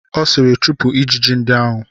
Ọ sịịrị, chụpụ ijiji ndị ahụ!